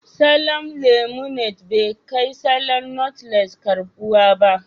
Salon Limonad bai kai salon notles karɓuwa ba